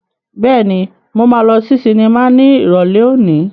Bẹ́ẹ̀ni, mo máa lọ sí sinimá ní Ìrọ̀lẹ́ òní.